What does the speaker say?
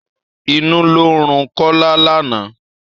Inú ló ń run Kọ́lá lánàá.